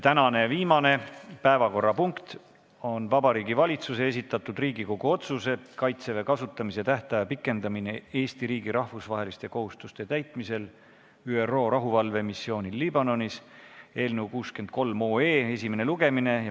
Tänane viimane päevakorrapunkt on Vabariigi Valitsuse esitatud Riigikogu otsuse "Kaitseväe kasutamise tähtaja pikendamine Eesti riigi rahvusvaheliste kohustuste täitmisel ÜRO rahuvalvemissioonil Liibanonis" eelnõu 63 esimene lugemine.